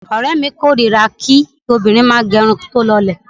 Ọ̀rẹ́mi kórira kí obìnrin bá ń gẹ irun tí ó lọlẹ̀.